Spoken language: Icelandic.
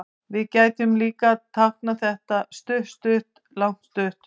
Við gætum líka táknað þetta stutt-stutt-langt-stutt.